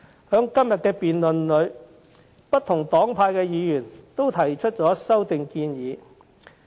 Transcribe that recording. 在今天的議案辯論中，不同黨派的議員均提出修正案。